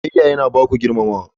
Biyayya yana ba ku girmamawa.